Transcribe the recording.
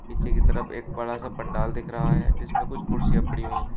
पीछे की तरफ एक बड़ा सा पंडाल दिख रहा है जिसमें कुछ कुर्सियां पड़ी हुई हैं।